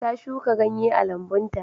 Ta shuka ganye a lambun ta.